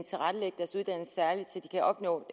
opnå